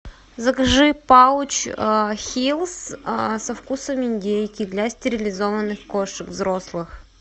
закажи пауч хилс со вкусом индейки для стерилизованных кошек взрослых